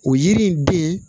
O yiri in den